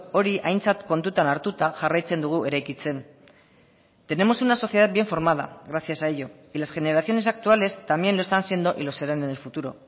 hori aintzat kontutan hartuta jarraitzen dugu eraikitzen tenemos una sociedad bien formada gracias a ello y las generaciones actuales también lo están siendo y lo serán en el futuro